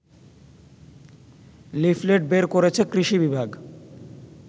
leaflet বের করেছে কৃষি বিভাগ